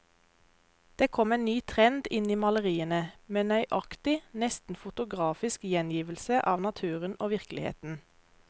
Det kom en ny trend inn i maleriene, med nøyaktig, nesten fotografisk gjengivelse av naturen og virkeligheten.